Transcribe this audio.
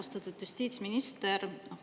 Austatud justiitsminister!